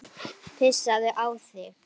Pissaðu á þig.